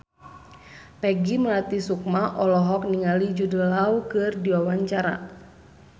Peggy Melati Sukma olohok ningali Jude Law keur diwawancara